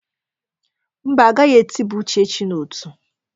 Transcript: Mba, agaghị etiba Uchechi n'ọtú.